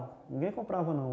Ninguém comprava não.